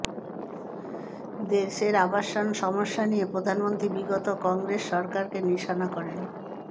দেশের আবাসন সমস্যা নিয়ে প্রধানমন্ত্রী বিগত কংগ্রসে সরকারকে নিশানা করেন